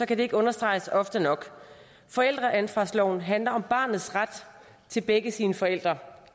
kan det ikke understreges ofte nok forældreansvarsloven handler om barnets ret til begge sine forældre